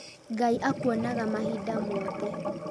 Ngai akuonaga mahinda mothe